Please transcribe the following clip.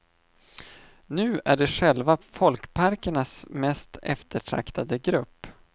Nu är de själva folkparkernas mest eftertraktade grupp.